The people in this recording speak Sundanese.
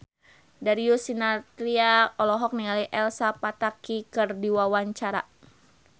Darius Sinathrya olohok ningali Elsa Pataky keur diwawancara